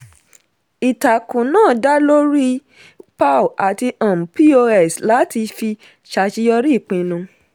ìtàkùn náà dá lórí pow àti um pos láti fi ṣàṣeyọri ìpinnu.